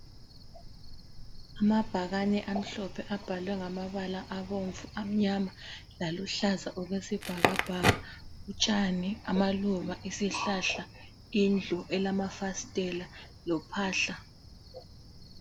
Amabhakane amhlophe abhalwe ngamabala abomvu, amnyama laluhlaza okwesibhakabhaka utshani, amaluba, isihlahla, indlu elamafasitela lophahla.